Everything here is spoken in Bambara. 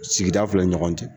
Sigida filɛ nin ɲɔgɔn cɛ.